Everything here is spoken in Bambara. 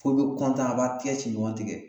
Fo be kɔntan a b'a tigɛ ci ɲɔgn tigɛ